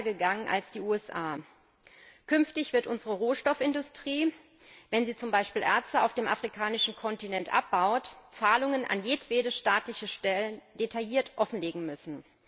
Wir sind weiter gegangen als die USA. Künftig wird unsere Rohstoffindustrie, wenn sie zum Beispiel Erze auf dem afrikanischen Kontinent abbaut, Zahlungen an jedwede staatliche Stelle detailliert offenlegen müssen.